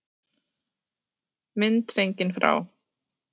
Mynd fengin frá